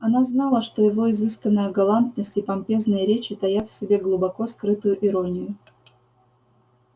она знала что его изысканная галантность и помпезные речи таят в себе глубоко скрытую иронию